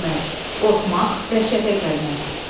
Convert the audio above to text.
Qorxmaq, dəhşətə gəlmək.